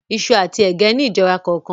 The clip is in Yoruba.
Iṣu àti ẹ̀gẹ́ ni ìjọra kọọkan